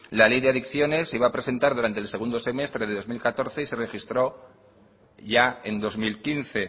la ley de adicciones se iba a presentar durante el segundo semestre de dos mil catorce y se registró ya en dos mil quince